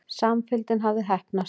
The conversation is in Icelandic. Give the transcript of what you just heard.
Samfylgdin hafði heppnast.